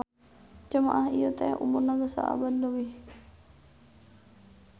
Jamaah ieu teh umurna geus saabad leuwih